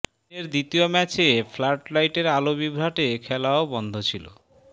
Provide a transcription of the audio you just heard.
দিনের দ্বিতীয় ম্যাচে ফ্লাডলাইটের আলো বিভ্রাটে খেলাও বন্ধ ছিল